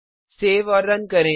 save और run करें